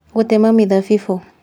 Gũtema Mĩthabibũ